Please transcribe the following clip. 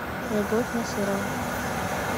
любовь насырова